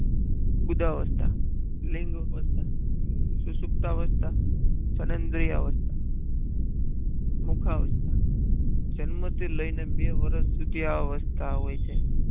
બુધા અવસ્થા લિંગ અવસ્થા સુસુક્ત અવસ્થા જનાદ્રીય અવસ્થ જન્મથી લઈને બે વર્ષ સુધી આ અવસ્થા હોય છે.